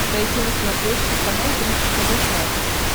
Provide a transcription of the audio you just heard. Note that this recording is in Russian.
найти на смотрешке канал бридж тв классик